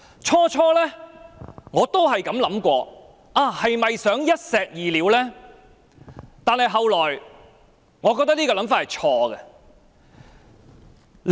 最初我也曾想，政府是否想一石二鳥？但後來，我認為這想法是錯誤的。